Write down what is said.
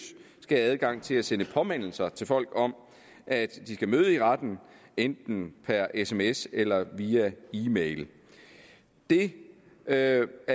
skal have adgang til at sende påmindelser til folk om at de skal møde i retten enten per sms eller via e mail det er